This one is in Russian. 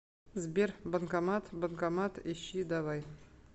сбер банкомат банкомат ищи давай